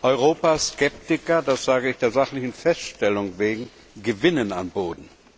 Europas Skeptiker das sage ich der sachlichen Feststellung wegen gewinnen an Boden.